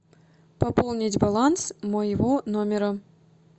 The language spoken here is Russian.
пополнить баланс моего номера